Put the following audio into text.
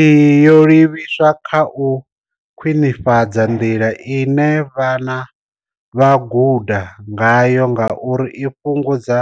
Iyi yo livhiswa kha u khwinifhadza nḓila ine vhana vha guda ngayo ngauri i fhungudza